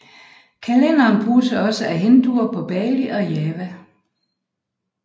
Kalenderen bruges også af Hinduer på Bali og Java